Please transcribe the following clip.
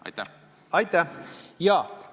Aitäh!